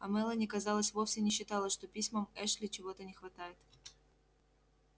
а мелани казалось вовсе не считала что письмам эшли чего-то не хватает